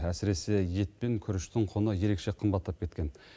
әсіресе ет пен күріштің құны ерекше қымбаттап кеткен